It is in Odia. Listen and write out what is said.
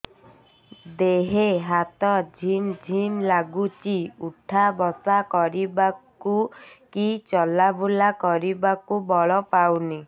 ଦେହେ ହାତ ଝିମ୍ ଝିମ୍ ଲାଗୁଚି ଉଠା ବସା କରିବାକୁ କି ଚଲା ବୁଲା କରିବାକୁ ବଳ ପାଉନି